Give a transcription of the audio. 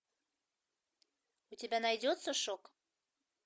у тебя найдется шок